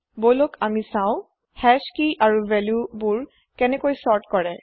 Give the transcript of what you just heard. বলক আমি চাও হাশ কেই আৰু valueবোৰ কেনেকৈ চৰ্ত্ কৰে